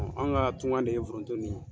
An ga tungan de ye forowonto nin ye